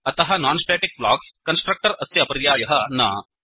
अतः non static blocks constructor अस्य पर्यायः न